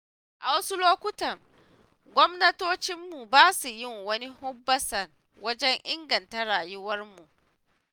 A wasu lokutan gwamnatocinmu ba sa yin wani hoɓɓasa wajen inganta rayuwarmu.